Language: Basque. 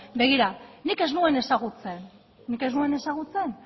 begira nik ez nuen ezagutzen nik ez nuen ezagutzen